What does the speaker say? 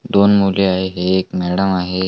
दोन मुले आहेत एक मॅडम आहे.